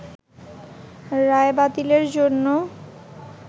রায় বাতিলের জন্য